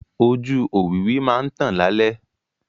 Ojú òwìwí máa ń tàn lálẹ́.